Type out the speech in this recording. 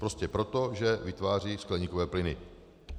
Prostě proto, že vytvářejí skleníkové plyny.